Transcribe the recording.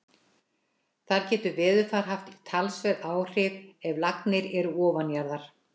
Þar getur veðurfar haft talsverð áhrif ef lagnir eru ofanjarðar.